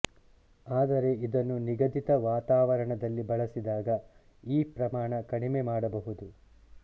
ಆದರೆ ಇದನ್ನು ನಿಗದಿತ ವಾತಾವರಣದಲ್ಲಿ ಬಳಸಿದಾಗ ಈ ಪ್ರಮಾಣ ಕಡಿಮೆ ಮಾಡಬಹುದು